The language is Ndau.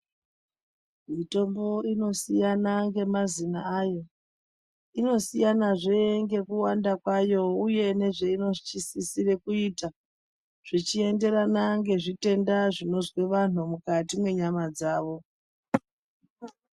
Mitombo inosiyana nemazina ayo, inosiyanazve ngekuwanda kwayo, uye nezveinosisire kuita, zvichienderana ngezvitenda zvinozwe vantu mukati mwenyama dzavo.